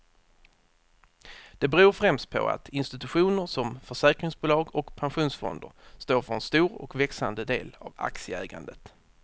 Det beror främst på att institutioner som försäkringsbolag och pensionsfonder står för en stor och växande del av aktieägandet.